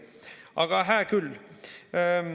Aga hää küll.